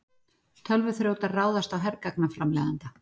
Tölvuþrjótar ráðast á hergagnaframleiðanda